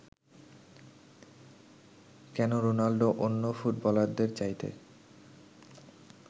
কেন রোনাল্ডো অন্য ফুটবলারদের চাইতে